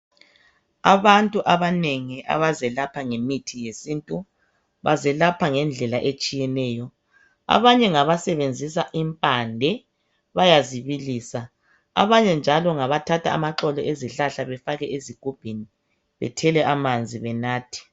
Abantu abanengi abazelapha ngemithi yesintu bazelapha ngendlela etshiyeneyo abanye ngabasebenzisa impande bayazi bilisa abanye njalo ngabathatha amaxolo ezihlahla bafake esigubhini bathele amanzi benathe